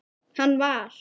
Hann var.